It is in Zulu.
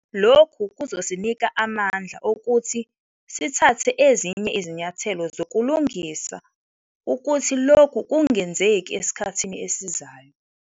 Lokhu kuzosinika amandla okuthi sithathe ezinye izinyathelo zokulungisa ukuthi lokhu kungenzeki esikhathini esizayo.